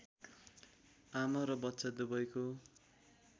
आमा र बच्चा दुबैको